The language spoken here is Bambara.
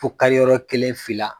Fo kari yɔrɔ kelen, fila.